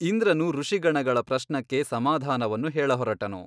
ಇಂದ್ರನು ಋಷಿಗಣಗಳ ಪ್ರಶ್ನಕ್ಕೆ ಸಮಾಧಾನವನ್ನು ಹೇಳಹೊರಟನು.